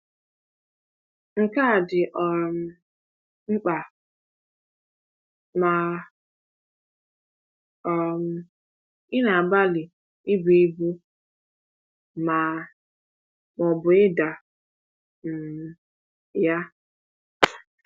Nke a dị um mkpa ma um ị na-agbalị ibu ibu ma ma ọ bụ ida um ya.